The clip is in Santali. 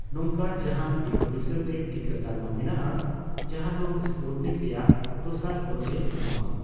ᱱᱚᱝᱠᱟᱱ ᱡᱟᱦᱟᱸᱱ ᱵᱤᱱ ᱯᱚᱭᱥᱟ ᱛᱮ ᱴᱤᱠᱟᱹ ᱛᱟᱞᱢᱟ ᱢᱮᱱᱟᱜᱼᱟ ᱡᱟᱦᱟᱸ ᱫᱳ ᱥᱯᱩᱴᱱᱤᱠ ᱨᱮᱭᱟᱜ ᱫᱚᱥᱟᱨ ᱰᱳᱡ ᱮ ᱮᱢᱚᱜᱽᱚᱜᱼᱟ